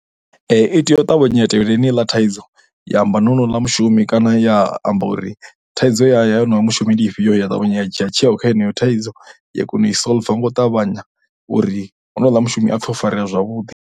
I tea u ṱavhanya tevhela yeneiḽa thaidzo ya amba na honouḽa mushumi kana ya amba uri thaidzo ya o no yo mushumi ndi ifhio ya ṱavhanya ya dzhia tsheo kha heneyo thaidzo ya kona u i solver ngo ṱavhanya uri honouḽa mushumi a pfhe o farea zwavhuḓi.